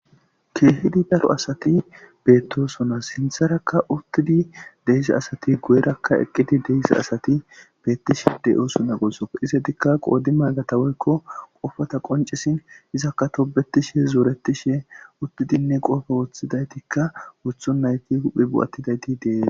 Kehi daro asati bettosona sintharaka utidi de'izo asati guyeraka eqidi deza asati betishe de'osona gusukko izzetika qodimagata woyko qopata qonc'isi izzaka tobetishe zoretishe utidine qope wothidayti we othontaytine huphe ba'atidayti detes.